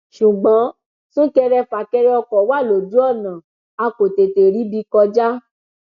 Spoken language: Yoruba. ṣùgbọn súnkẹrẹfàkẹrẹ ọkọ wa lójú ọnà a kò tètè ríbi kọjá